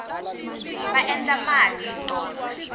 va endla mali hi tona